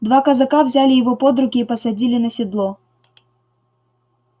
два казака взяли его под руки и посадили на седло